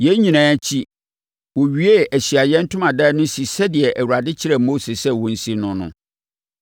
Yei nyinaa akyi, wɔwiee Ahyiaeɛ Ntomadan no si sɛdeɛ Awurade kyerɛɛ Mose sɛ wɔnsi no no.